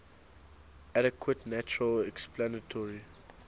adequate natural explanatory